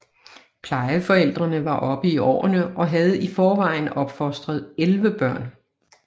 Plejeforældrene var oppe i årene og havde i forvejen opfostret 11 børn